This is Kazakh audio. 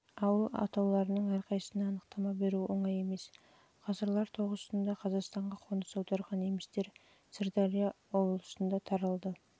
ауыл атауларының әрқайсысына анықтама беру оңай емес ғасырлар тоғысында қазақстанға қоныс аударған немістер сырдария облысына таралды